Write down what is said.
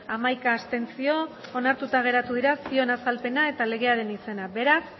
hamaika abstentzio ondorioz onartuta geratu dira zioen azalpena eta legearen izena beraz